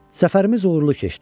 Səfərimiz uğurlu keçdi.